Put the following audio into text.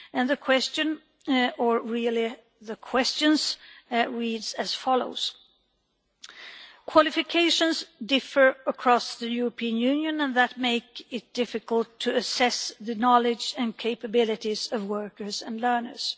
The question or really the questions reads as follows Qualifications differ across the European Union and that makes it difficult to assess the knowledge and capabilities of workers and learners.